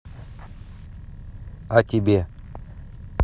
а тебе